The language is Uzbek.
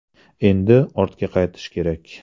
Endi ortga qaytish kerak.